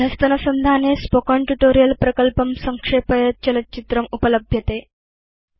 अधस्तनसंधाने spoken tutorial project संक्षेपयत् चलच्चित्रम् उपलभ्यते